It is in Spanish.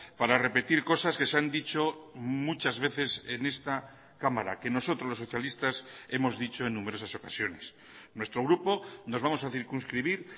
para repetir cosas que se han dicho muchas veces en esta cámara que nosotros los socialistas hemos dicho en numerosas ocasiones nuestro grupo nos vamos a circunscribir